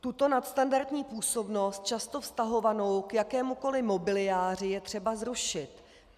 Tuto nadstandardní působnost, často vztahovanou k jakémukoliv mobiliáři, je třeba zrušit.